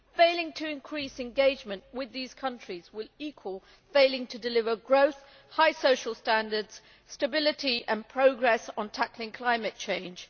Failing to increase engagement with these countries would equal failing to deliver growth, high social standards, stability and progress on tackling climate change.